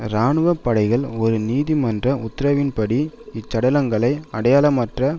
இராணுவ படைகள் ஒரு நீதிமன்ற உத்தரவின்படி இச்சடலங்களை அடையாளமற்ற